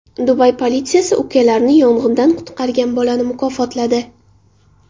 Dubay politsiyasi ukalarini yong‘indan qutqargan bolani mukofotladi.